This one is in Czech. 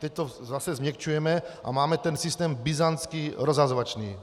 Teď to zase změkčujeme a máme ten systém byzantský, rozhazovačný.